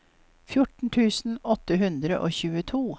fjorten tusen åtte hundre og tjueto